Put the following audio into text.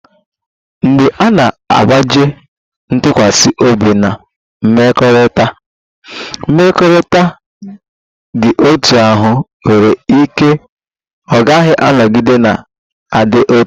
Mgbe a na-agbaji ntụkwasị obi Na mmekọrịta, mmekọrịta dị otú ahụ nwere ike ọ gaghị anọgide na-adị otu.